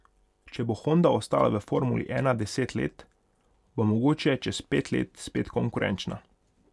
Če bo Honda ostala v formuli ena deset let, bo mogoče čez pet let spet konkurenčna.